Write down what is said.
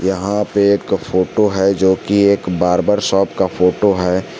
यहां पे एक फोटो है जो की एक बार्बर शॉप का फोटो है।